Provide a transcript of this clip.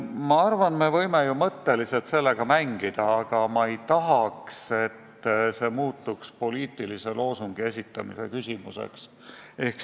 Ma arvan, et me võime ju mõttes sellega mängida, aga ma ei tahaks, et see muutuks poliitilise loosungi esitamise küsimuseks.